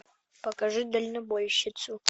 покажи дальнобойщицу